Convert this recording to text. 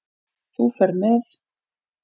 Þú ferð með